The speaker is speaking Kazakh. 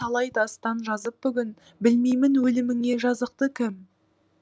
талай дастан жазып бүгін білмеймін өліміңе жазықты кім